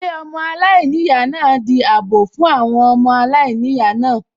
Ilé ọmọ aláìníyàá náà di àbọ̀ fún àwọn ọmọ aláìníyàá náà